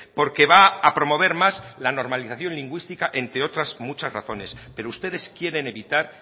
porque va a promover más la normalización lingüística entre otras muchas razones pero ustedes quieren evitar